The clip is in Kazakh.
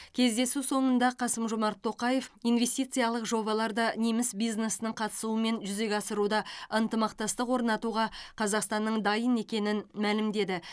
кездесу соңында қасым жомарт тоқаев инвестициялық жобаларды неміс бизнесінің қатысуымен жүзеге асыруда ынтымақтастық орнатуға қазақстанның дайын екенін мәлімдеді